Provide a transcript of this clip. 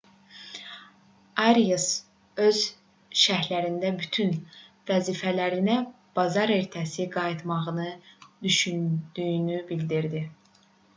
arias öz şərhində bütün vəzifələrinə bazar ertəsi qayıtmağı düşündüyünü bildirdi